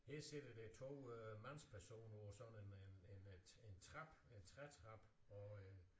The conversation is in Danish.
Her ser vi der er 2 øh mandspersoner på sådan en øh en øh en trappe en trætrappe og øh